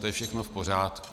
To je všechno v pořádku.